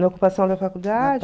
Na ocupação da faculdade?